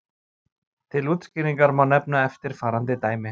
Til útskýringar má nefna eftirfarandi dæmi.